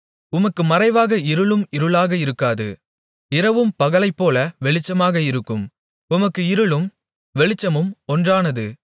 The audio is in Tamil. உமக்கு மறைவாக இருளும் இருளாக இருக்காது இரவும் பகலைப்போல வெளிச்சமாக இருக்கும் உமக்கு இருளும் வெளிச்சமும் ஒன்றானது